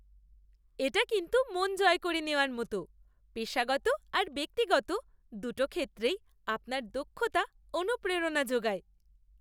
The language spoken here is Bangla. এটা কিন্তু মন জয় করে নেওয়ার মতো! পেশাগত আর ব্যক্তিগত দুটো ক্ষেত্রেই আপনার দক্ষতা অনুপ্রেরণা যোগায়।